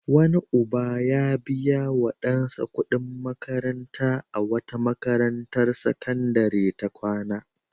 Wani uba ya biya wa ɗansa kuɗin makanta a wata makarantar sakandare ta kwana.